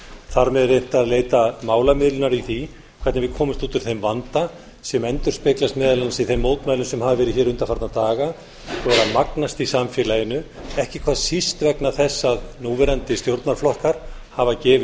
þar með reynt að leita málamiðlunar í því hvernig við komumst út úr þeim vanda sem endurspeglast meðal annars í þeim mótmælum sem hafa verið hér undanfarna daga og eru að magnast í samfélaginu ekki hvað síst vegna þess að núverandi stjórnarflokkar hafa gefið